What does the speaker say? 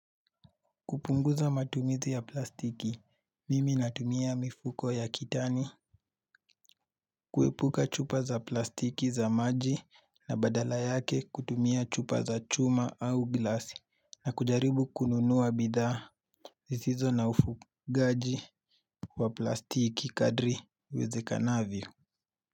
Kupunguza matumizi ya plastiki, mimi natumia mifuko ya kitani kuepuka chupa za plastiki za maji na badala yake kutumia chupa za chuma au glasi na kujaribu kununuwa bidhaa zisizo na ufugaji wa plastiki kadri iwezekavyo.